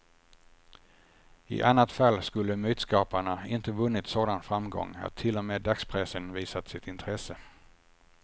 I annat fall skulle mytskaparna inte vunnit sådan framgång att till och med dagspressen visat sitt intresse.